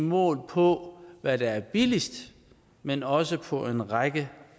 målt på hvad der er billigst men også på en række